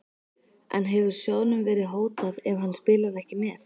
En hefur sjóðnum verið hótað ef hann spilar ekki með?